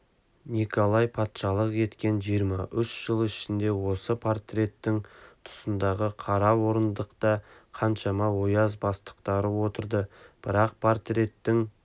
николай патшалық еткен жиырма үш жыл ішінде осы портреттің тұсындағы қара орындықта қаншама ояз бастықтары отырды бірақ портреттің